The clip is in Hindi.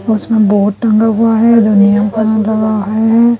उसमें बहोत टंगा हुआ है का दावा है।